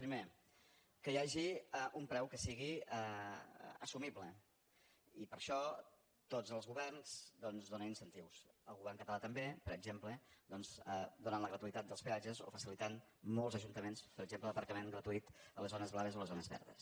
primer que hi hagi un preu que sigui assumible i per això tots els governs doncs donen incentius el govern català també per exemple donant la gratuïtat dels peatges o facilitant molts ajuntaments per exemple l’aparcament gratuït a les zones blaves o a les zones verdes